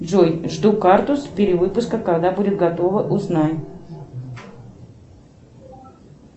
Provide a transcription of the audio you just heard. джой жду карту с перевыпуска когда будет готова узнай